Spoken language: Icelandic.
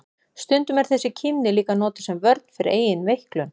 Stundum er þessi kímni líka notuð sem vörn fyrir eigin veiklun.